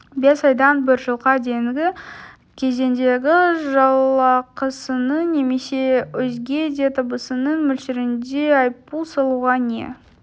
бес айдан бір жылға дейінгі кезеңдегі жалақысының немесе өзге де табысының мөлшерінде айыппұл салуға не